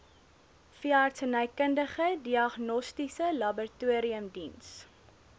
veeartsenykundige diagnostiese laboratoriumdiens